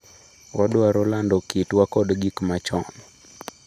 """Wadwaro lando kitwa kod gik machon."